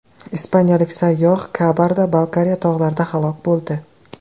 Ispaniyalik sayyoh Kabarda-Balkariya tog‘larida halok bo‘ldi.